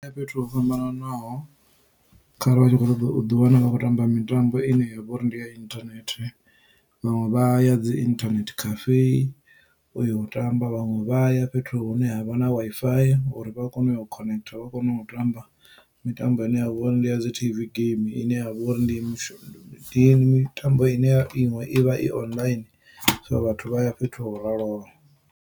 Hu na fhethu ho fhambananaho kharali vha tshi kho ṱoḓa u ḓi wana vha khou tamba mitambo ine yavha uri ndi ya internet vhaṅwe vha ya dzi internet cafe u yo tamba vhaṅwe vha ya fhethu hune havha na Wi-Fi for uri vha kone u yo connector vha kone u tamba mitambo ine ya vha uri ndi ya dzi T_V game ine ya vha uri ndi mitambo ine ya iṅwe i vha i online so vhathu vha ya fhethu ho raloho.